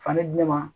Fani di ne ma